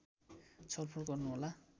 छलफल गर्नुहोला